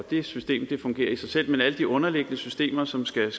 det system fungerer i sig selv men alle de underliggende systemer som skal